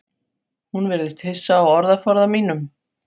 Hún virðist hissa á orðaforða mínum.